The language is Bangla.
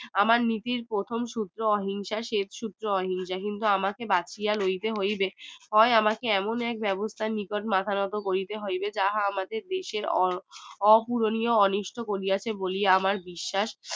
আমার নীতির প্রথম সূত্র অহিংসা শেষ সূত্র অহিংসা কিন্তু আমাকে বাঁচিয়া লইতে হইবে হয় আমাকে এমন এক ব্যবস্থা নিতে হইবে বা মাথা নাত করিতে হইবে যাহা আমাদের দেশের অপূরণীয় অনিষ্ট বলিয়া চে বলে আমার বিশ্বাস